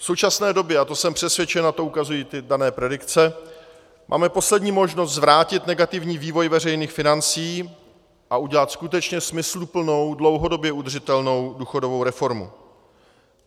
V současné době, a to jsem přesvědčen a to ukazují ty dané predikce, máme poslední možnost zvrátit negativní vývoj veřejných financí a udělat skutečně smysluplnou, dlouhodobě udržitelnou důchodovou reformu.